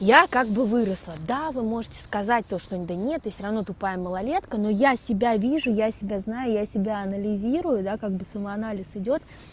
я как бы выросла да вы можете сказать то что он да нет ты всё ровно тупая малолетка но я себя вижу я себя знаю я себя анализирую я как бы самоанализ идёт